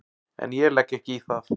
En ég legg ekki í það.